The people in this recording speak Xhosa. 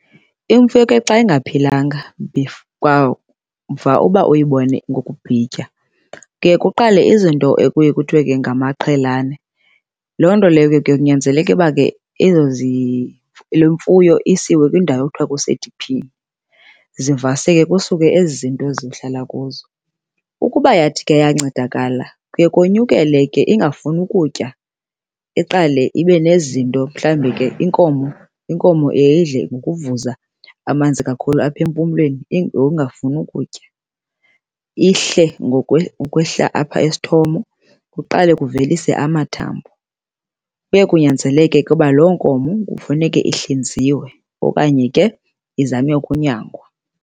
Imfuyo ke xa ingaphilanga kwamva uba uyibone ngokubhitya, kuye kuqale izinto ekuye kuthiwe ke ngamaqhelane. Loo nto leyo ke kunyanzeleke uba ke ezo le mfuyo isiwe kwindawo ekuthiwa kusediphini, zivaseke kusuke ezi zinto zihlala kuzo. Ukuba yathi ke ayancedakala kuye konyukele ke ingafuni ukutya, iqale ibe nezinto. Mhlambi ke inkomo inkomo iye idle ngokuvuza amanzi kakhulu apha empumlweni ngoku ingafuni ukutya. Ihle ukwehla apha esithomo, kuqale kuvelise amathambo. Kuye kunyanzeleke ke uba loo nkomo kufuneke ihlinziwe okanye ke izanywe ukunyangwa.